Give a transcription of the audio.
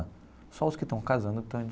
Só os que estão casando estão.